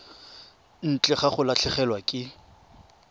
ntle ga go latlhegelwa ke